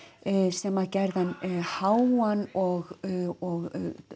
sem gerði hann háan og